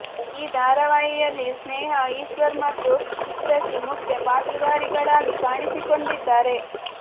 ಈ ಧಾರಾವಾಹಿಯಲ್ಲಿ ಸ್ನೇಹಾ ಈಶ್ವರ್ ಮತ್ತು ಚಿತ್ರಶ್ರೀ ಮುಖ್ಯ ಪಾತ್ರಧಾರಿಗಳಾಗಿ ಕಾಣಿಸಿಕೊಂಡಿದ್ದಾರೆ